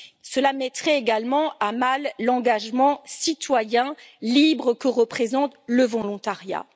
Cela mettrait également à mal l'engagement citoyen libre que représente le volontariat.